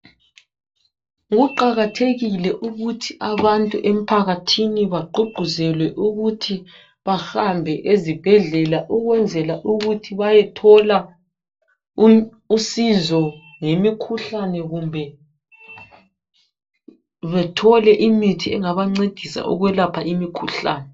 kuqakathekile ukuthi abantu emphakathini bagqugquzelwe ukuthi bahambe ezibhedlela ukwenzela ukuthi bayethola usizo ngemikhuhlane kumbe bethole imithi engabancedisa ukwelapha imikhuhlane